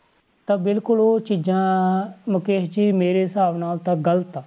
ਤਾਂ ਬਿਲਕੁਲ ਉਹ ਚੀਜ਼ਾਂ ਮੁਕੇਸ਼ ਜੀ ਮੇਰੇ ਹਿਸਾਬ ਨਾਲ ਤਾਂ ਗ਼ਲਤ ਆ।